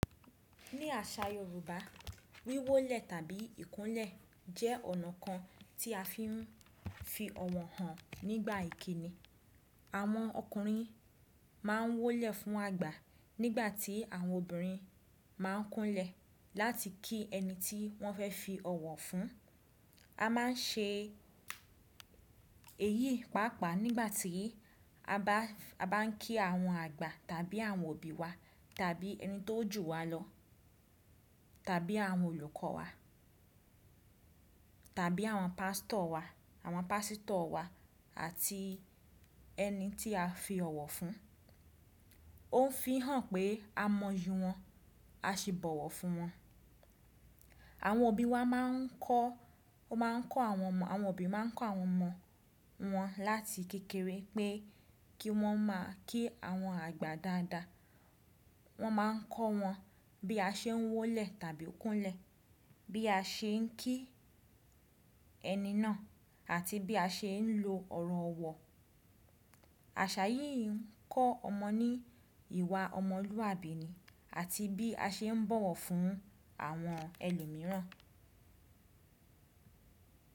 Ní àṣà Yorùbá, wíwólẹ̀ tàbí ìkúnlẹ̀ jẹ́ ọ̀nà kan tí a fi ń fi ọ̀wọ̀ hàn nígbà ìkíni. Àwọn ọkùnrin máa ń wólẹ̀ fún àgbà nígbà tí àwọn obìnrin máa ń kúnlẹ̀ láti kí ẹni tí wọ́n fẹ́ fi ọ̀wọ̀ fún. A máa ń ṣe èyí pàápàá nígbà tí a bá, a bá ń kí àwọn àgbà tàbí àwọn òbí wa tàbí ẹni tó jù wa lọ tàbí àwọn olùkọ́ wa tàbí àwọn pastor wa, àwọn pásítọ̀ wa àti ẹni tí a fi ọ̀wọ̀ fún. Ó fí ń hàn pé a mọ iyì wọn, a sì bọ̀wọ fún wọn. Àwọn òbí wa máa ń kọ́, ó máa ń kọ́ àwọn ọmọ, àwọn òbí máa ń kọ́ àwọn ọmọ wọn láti kékeré pé kí wọ́n máa kí àwọn àgbà dáadáa. Wọ́n máa ń kọ́ wọn bí a ṣe ń wólẹ̀ tàbí kúnlẹ̀, bí a ṣe ń kí ẹni náà àti bí a ṣe ń lo ọ̀rọ̀ ọ̀wọ̀. Àṣà yìí ń kọ́ ọmọ ní ìwà ọmọlúwàbí ni àti bí a ṣe ń bọ̀wọ̀ fún àwọn ẹlòmíràn.